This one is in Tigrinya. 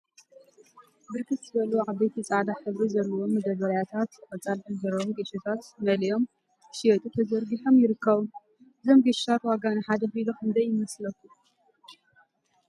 ብርክት ዝበሉ ዓበይቲ ፃዕዳ ሕብሪ ዘለዎም መዳበርያታት ቆፃል ሕብሪ ዘለዎም ጌሾታት መሊኦም ንክሽየጡ ተዘርጊሖም ይርከቡ፡፡ እዞም ጌሾታት ዋጋ ንሓደ ኪሎ ክንደይ እዩ?